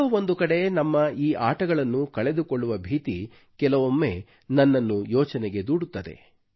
ಎಲ್ಲೋ ಒಂದು ಕಡೆ ನಮ್ಮ ಈ ಆಟಗಳನ್ನು ಕಳೆದುಕೊಳ್ಳುವ ಭೀತಿ ಕೆಲವೊಮ್ಮೆ ನನ್ನನ್ನು ಯೋಚನೆಗೆ ದೂಡುತ್ತದೆ